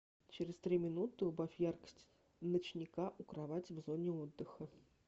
через три минуты убавь яркость ночника у кровати в зоне отдыха